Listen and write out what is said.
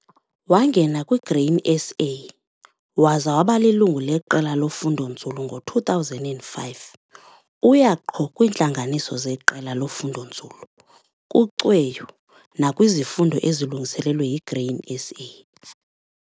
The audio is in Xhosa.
Wangena kwiGrain SA waza waba lilungu leqela lofundonzulu ngo-2005. Uya qho kwiintlanganiso zeqela lofundonzulu, kucweyo nakwizifundo ezilungiselelwe yiGrain SA.